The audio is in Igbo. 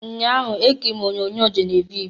Nnyaa ahụ, ekiriri m onyoonyo Geneviv.